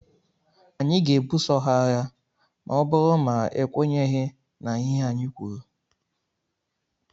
Anyị ga-ebuso ha agha ma ọ bụrụ ma ekwenyeghi na ihe anyị kwuru.